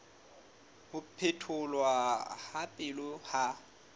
ho phetholwa ha pele ha